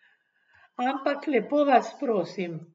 Ampak lepo vas prosim.